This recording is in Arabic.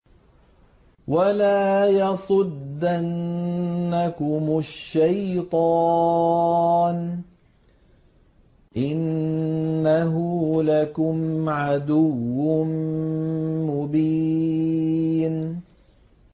وَلَا يَصُدَّنَّكُمُ الشَّيْطَانُ ۖ إِنَّهُ لَكُمْ عَدُوٌّ مُّبِينٌ